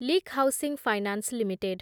leak Housing Finance limited